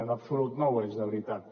en absolut no ho és de veritat